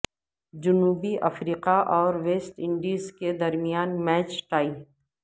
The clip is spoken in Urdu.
جنوبی افریقہ اور ویسٹ انڈیز کے درمیان میچ ٹائی